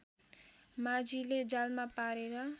माझीले जालमा पारेर